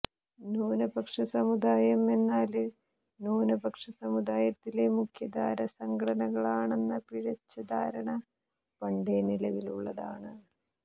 ന്യൂനപക്ഷ സമുദായം എന്നാല് ന്യൂനപക്ഷ സമുദായത്തിലെ മുഖ്യധാരാ സംഘടനകളാണെന്ന പിഴച്ച ധാരണ പണ്ടേ നിലവിലുള്ളതാണ്